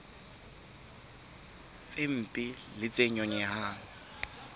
tse mpe le tse nyonyehang